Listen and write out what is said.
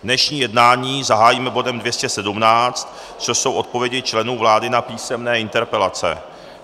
Dnešní jednání zahájíme bodem 217, což jsou odpovědi členů vlády na písemné interpelace.